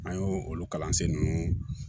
An y'o olu kalansen ninnu